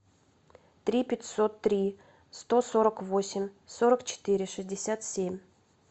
три пятьсот три сто сорок восемь сорок четыре шестьдесят семь